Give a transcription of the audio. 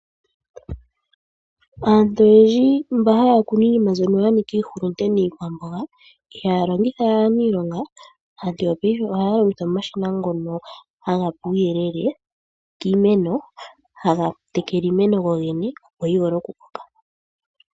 Aantu oyendji mba haya kunu iinima mbyono yanika iihulunde niikwamboga ihaya longitha we aaniilonga, aantu yopaife ohaya longitha omashina ngono haga pe uuyelele kiimeno, haga tekele iimeno gogene yo yi vule oku koka.